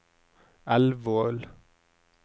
Elvål